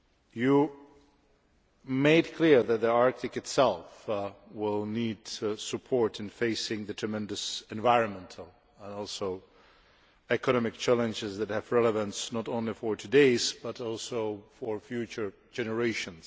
You made clear that the Arctic itself will need support in facing the tremendous environmental and economic challenges that have relevance not only for today's but also for future generations.